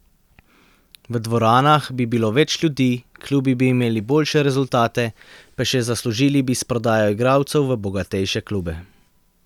V dvoranah bi bilo več ljudi, klubi bi imeli boljše rezultate, pa še zaslužili bi s prodajo igralcev v bogatejše klube.